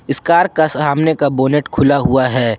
इस कार का सामने का बोनट खुला हुआ है।